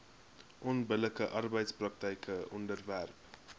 onbillike arbeidspraktyke onderwerp